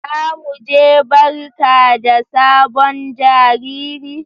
za mu je barka da sabon jariri.